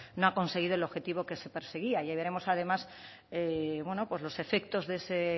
no ha conseguido el objetivo que se perseguía ya veremos además los efectos de ese